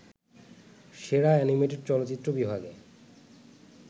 সেরা অ্যানিমেটেড চলচ্চিত্র বিভাগে